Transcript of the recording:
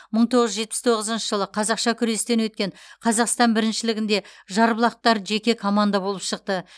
мың тоғыз жүз жетпіс тоғызыншы жылы қазақша күрестен өткен қазақстан біріншілігінде жарбұлақтықтар жеке команда болып шықты